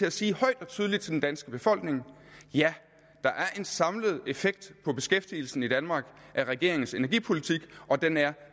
at sige højt og tydeligt til den danske befolkning ja der er en samlet effekt på beskæftigelsen i danmark af regeringens energipolitik og den er